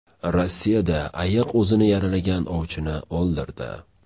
Rossiyada ayiq o‘zini yaralagan ovchini o‘ldirdi.